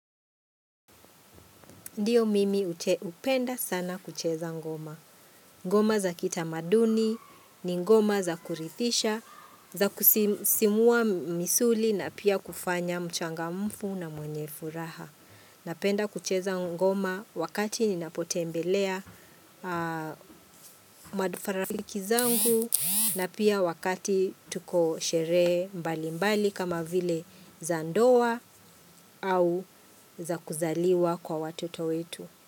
Ndiyo mimi upenda sana kucheza ngoma. Ngoma za kita maduni, ni ngoma za kurithisha, za kusisimua misuli na pia kufanya mchanga mfu na mwenye furaha. Napenda kucheza ngoma wakati ninapote embelea madufarafiki zangu na pia wakati tuko sherehe mbali mbali kama vile za ndoa au za kuzaliwa kwa watoto wetu.